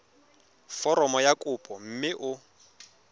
foromo ya kopo mme o